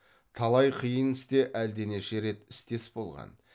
талай қиын істе әлденеше рет істес болған